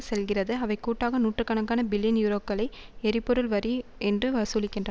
செல்கிறது அவை கூட்டாக நூற்று கணக்கான பில்லியன் யூரோக்களை எரிபொருள் வரி என்று வசூலிக்கின்ற